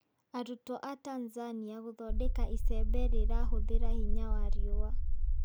Arutwo a Tanzania gũthondeka icembe rĩra hũthira hinya wa riũũa.